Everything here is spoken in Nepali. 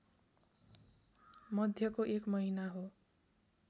मध्यको एक महिना हो